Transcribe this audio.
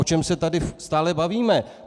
O čem se tady stále bavíme?